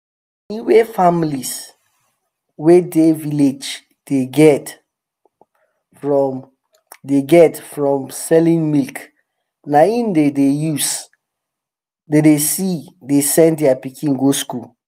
money wey families wey dey village dey get from dey get from selling milk na em dem dey se dey send their pikin go school